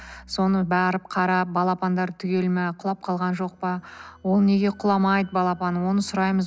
соны барып қарап балапандары түгел ма құлап қалған жоқ па ол неге құламайды балапаны оны сұраймыз